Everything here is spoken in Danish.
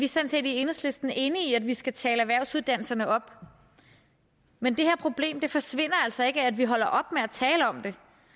sådan set i enhedslisten enige i at vi skal tale erhvervsuddannelserne op men det her problem forsvinder altså ikke af at vi holder op med at tale om det